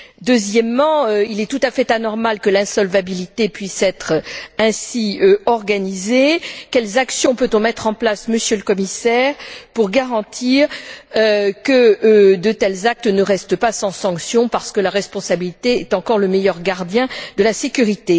Deuxièmement, il est tout à fait anormal que l'insolvabilité puisse être ainsi organisée. Quelles actions peut on mettre en place, Monsieur le Commissaire, pour garantir que de tels actes ne restent pas impunis car la responsabilité est encore le meilleur gardien de la sécurité?